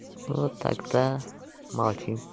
вот так то молчим